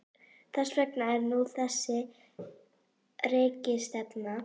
Þess vegna er nú þessi rekistefna.